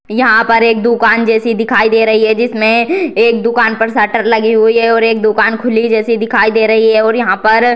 यहाँ पर एक दुकान जैसी दिखाई दे रही है जिसमें एक दुकान पर सटर लगी हुई है और एक दुकान खुली जैसी दिखाई दे रही है और यहाँ पर --